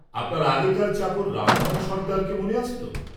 আপনার আগেকার চাকর রামধন সর্দারকে মনে আছে ত?